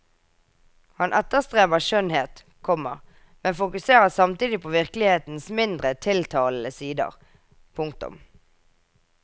Han etterstreber skjønnhet, komma men fokuserer samtidig på virkelighetens mindre tiltalende sider. punktum